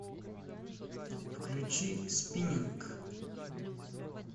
включи спиннинг